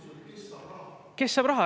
Kes saab raha?